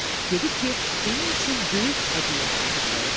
Dedi ki, onun üçün böyük hədiyyə hazırlayıb.